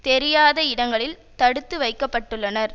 தெரியாத இடங்களில் தடுத்து வைக்க பட்டுள்ளனர்